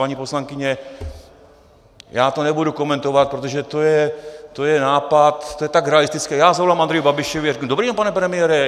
Paní poslankyně, já to nebudu komentovat, protože to je nápad, to je tak realistické - já zavolám Andreji Babišovi a řeknu: Dobrý den, pane premiére.